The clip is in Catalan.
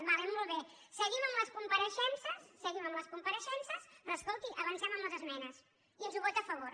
d’acord molt bé seguim amb les compareixences seguim amb les compareixences però escolti avancem amb les esmenes i ens ho vota a favor